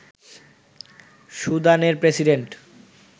সুদানের প্রেসিডেন্ট